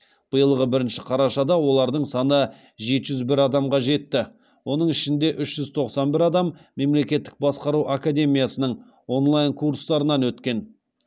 биылғы бірінші қарашада олардың саны жеті жүз бір адамға жетті оның ішінде үш жүз тоқсан бір адам мемлекеттік басқару академиясының онлайн курстарынан өткен